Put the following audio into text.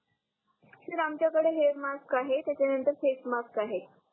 sir आमच्या कडे hair mask आहे त्याच्या नंतर फेस मास्क आहे